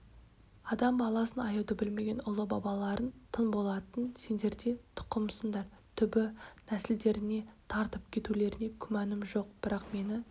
адам баласын аяуды білмеген ұлы бабаларың тыңболаттың сендер де тұқымысыңдар түбі нәсілдеріңе тартып кетулеріңе күмәнім жоқ бірақ мені